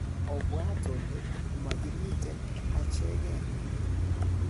obwat ole mogimiten echegen.